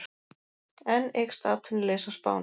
Enn eykst atvinnuleysi á Spáni